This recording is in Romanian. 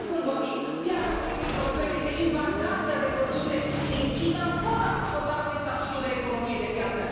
că acum, când vorbim, piața Uniunii Europene este invadată de produse din China, fără a i acorda noi statutul de economie de piață.